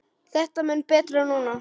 Þetta er mun betra núna.